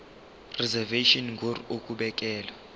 reservation ngur ukubekelwa